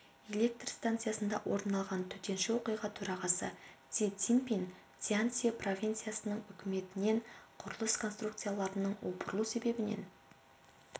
электр станциясында орын алған төтенше оқиға төрағасы си цзиньпин цзянси провинциясының үкіметінен құрылыс конструкцияларының опырылу себебін